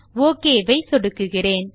okay ஐ சொடுக்குகிறேன்